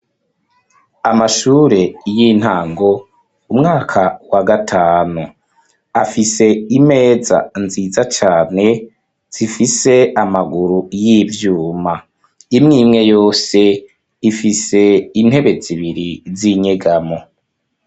Amashure y'intango ,umwaka wa gatanu. Afise imeza nziza cane zifise amaguru y'ivyuma, imwimwe yose ifise intebe zibiri z'inyegamo.